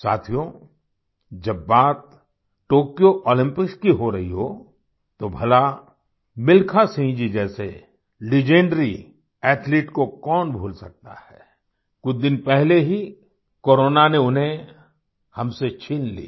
साथियो जब बात टोक्यो ओलम्पिक्स की हो रही हो तो भला मिल्खा सिंह जी जैसे लेजेंडरी एथलीट को कौन भूल सकता है कुछ दिन पहले ही कोरोना ने उन्हें हमसे छीन लिया